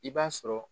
I b'a sɔrɔ